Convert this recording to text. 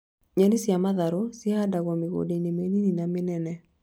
Nyeni cia matharũ cihandagwo mĩgũnda-inĩ mĩnini na mĩnene.